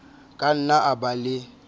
ka nna a ba le